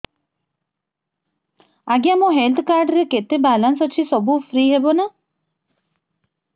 ଆଜ୍ଞା ମୋ health card ରେ କେତେ ବାଲାନ୍ସ ଅଛି ସବୁ ଫ୍ରି ହବ ନାଁ